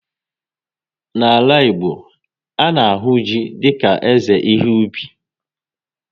N'ala Igbo, a na-ahụ ji dika eze ihe ubi